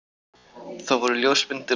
Það voru ljósmyndir af